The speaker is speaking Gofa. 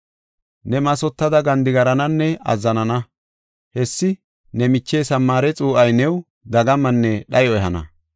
Neeni mathota gandigarananne azzanana. Hessi ne miche Samaare xuu7ay new dagamanne dhayo ehana.